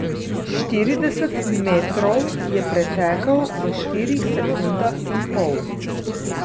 Štirideset metrov je pretekel v štirih sekundah in pol.